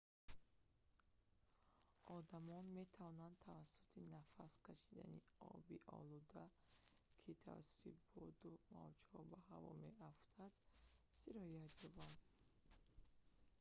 одамон метавонанд тавассути нафас кашидани оби олуда ки тавассути боду мавҷҳо ба ҳаво меафтад сироят ёбанд